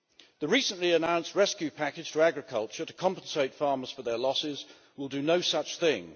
The recently announced rescue package to agriculture to compensate farmers for their losses will do no such thing.